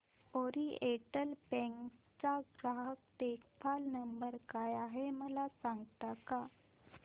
oriental Bank चा ग्राहक देखभाल नंबर काय आहे मला सांगता का